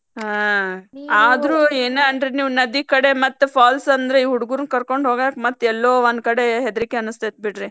ಹಾ ಆದ್ರೂ ಏನ್ ಅನ್ರಿ ನೀವ್ ನದಿ ಕಡೆ ಮತ್ತ್ falls ಅಂದ್ರ್ ಈ ಹುಡಗುರ್ನ ಕರ್ಕೊಂಡ್ ಹೋಗಾಕ ಮತ್ತ್ ಎಲ್ಲೋ ಒಂದ್ ಕಡೆ ಹೆದ್ರಿಕಿ ಅನಿಸ್ತೇತ ಬಿಡ್ರಿ.